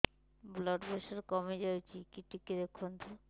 blood pressure କମି ଯାଉଛି କି ଟିକେ ଦେଖନ୍ତୁ